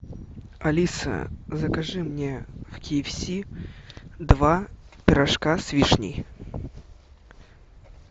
алиса закажи мне в ки эф си два пирожка с вишней